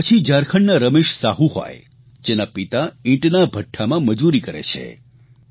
કે પછી ઝારખંડના રમેશ સાહુ હોય જેના પિતા ઇંટના ભઠ્ઠામાં મજૂરી કરે છે